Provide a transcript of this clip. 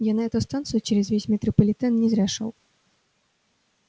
я на эту станцию через весь метрополитен не зря шёл